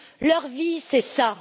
Leur vie, c'est ça.